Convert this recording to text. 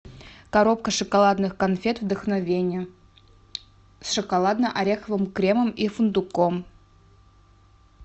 коробка шоколадных конфет вдохновение с шоколадно ореховым кремом и фундуком